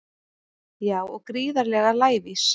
Já og gríðarlega lævís